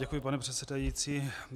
Děkuji, pane předsedající.